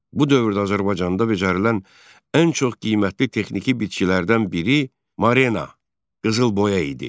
Bu dövrdə Azərbaycanda becərilən ən çox qiymətli texniki bitkilərdən biri Marena, qızılboya idi.